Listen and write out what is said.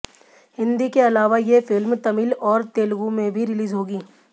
हिंदी के अलावा ये फिल्म तमिल और तेलुगु में भी रिलीज होगी